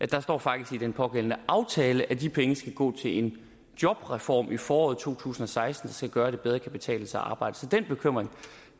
der står faktisk i den pågældende aftale at de penge skal gå til en jobreform i foråret to tusind og seksten der skal gøre at det bedre kan betale sig at arbejde så den bekymring